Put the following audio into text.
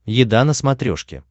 еда на смотрешке